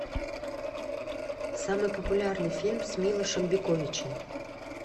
самый популярный фильм с милошем биковичем